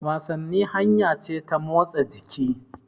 Wasanni hanya ce ta motsa jiki.